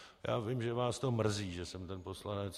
Já vím, že vás to mrzí, že jsem ten poslanec.